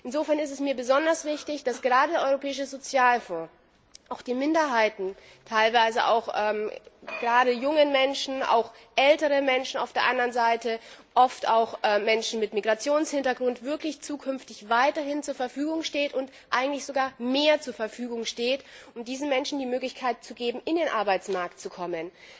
Insofern ist es mir besonders wichtig, dass gerade der Europäische Sozialfonds auch Minderheiten, teilweise auch gerade jungen Menschen, auf der anderen Seite auch älteren Menschen, oft auch Menschen mit Migrationshintergrund, künftig wirklich weiterhin zur Verfügung steht und eigentlich sogar mehr zur Verfügung steht, um diesen Menschen die Möglichkeit zu geben, in den Arbeitsmarkt zu kommen.